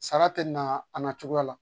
Sara tɛ na cogoya la